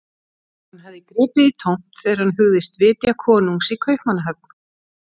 Hann hafði gripið í tómt þegar hann hugðist vitja konungs í Kaupmannahöfn.